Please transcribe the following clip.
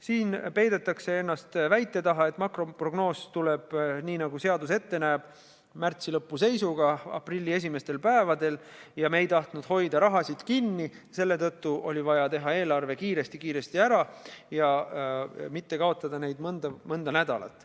Siin peidetakse ennast väite taha, et makroprognoos tuleb nii, nagu seadus ette näeb, märtsi lõpu seisuga aprilli esimestel päevadel, ja kuna me ei tahtnud hoida raha kinni, siis selle tõttu oli vaja teha eelarve kiiresti-kiiresti ära, et mitte kaotada neid mõnda nädalat.